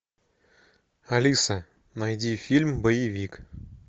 алиса найди фильм боевик